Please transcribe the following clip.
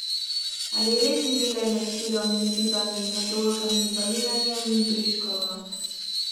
Ali res živi le med sirom in ribami, med oljkami, balinanjem in briškolo?